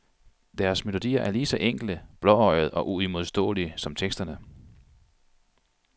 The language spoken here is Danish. Deres melodier er ligeså enkle, blåøjede og uimodståelige som teksterne.